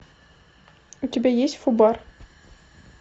у тебя есть фубар